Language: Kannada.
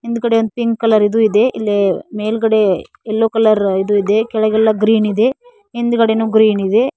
ಹಿಂದ್ಗಡೆ ಒಂದು ಪಿಂಕ್ ಕಲರ್ ಇದು ಇದೆ ಇಲ್ಲಿ ಮೇಲ್ಗಡೆ ಎಲ್ಲೋ ಕಲರ್ ಇದು ಇದೆ ಕೆಳಗೆಲ್ಲ ಗ್ರೀನ್ ಇದೆ ಹಿಂದ್ಗಡೇನು ಗ್ರೀನ್ ಇದೆ.